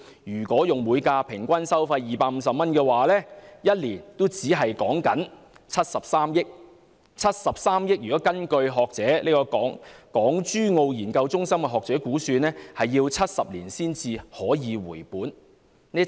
如果以每架次平均收費250元計算，一年只有73億元，而據有關港珠澳研究中心的學者估算，我們需要70年才能回本。